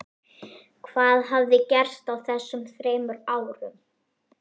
Hvað hafði gerst á þessum þremur árum?